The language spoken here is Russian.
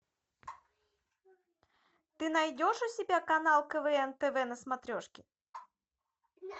ты найдешь у себя канал квн тв на смотрешке